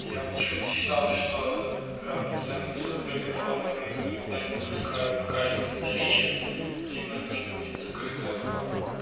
я почему-то считал что пациентов с открытой формы никуда не выпускают пока либо не залечат либо не будет закрытая форма